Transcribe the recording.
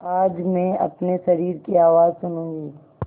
आज मैं अपने शरीर की आवाज़ सुनूँगी